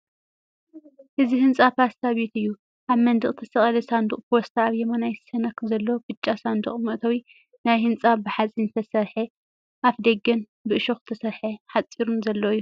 እዚ ህንጻ ፖስታ ቤት እዩ። ኣብ መንደቕ ዝተሰቕለ ሳንዱቕ ፖስታ ኣብ የማናይ ሸነኽ ዘሎ ብጫ ሳንዱቕ መእተዊ ናይቲ ህንጻ ብሓጺን ዝተሰርሐ ኣፍደገን ብእሾኽ ዝተሰርሐ ሓጹርን ዘለዎ እዩ።